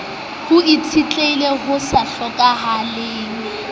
ho itshetleheng ho sa hlokeheng